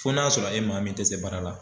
Fo n'a y'a sɔrɔ e maa min tɛ se baara la.